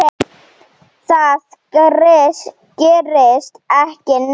Það gerist ekki neitt.